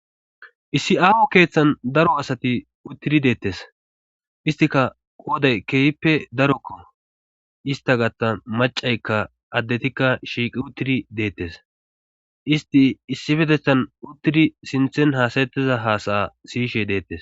issi aaho keeththan daro asati uttiri deettes istika qooday keehippe darokko ista gatta macaykka addetikka shiiqi uttiri deettes isti issifetethan uttidi sinthen haasayettiza haasaya siyishe deettes